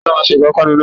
Ta ló máa se ìpápánu náà?